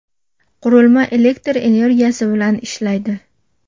Qurilma elektr energiyasi bilan ishlaydi.